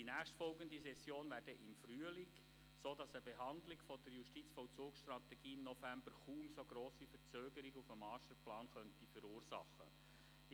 Die nächstfolgende Session findet erst im Frühling statt, sodass eine Behandlung der Justizvollzugsstrategie im November wohl kaum eine so grosse Verzögerung des Masterplans verursachen könnte.